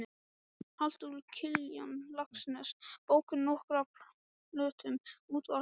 Halldór Kiljan Laxness bókum, nokkrum plöntum, útvarpi og styttum.